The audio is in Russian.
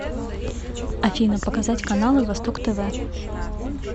афина показать каналы восток тв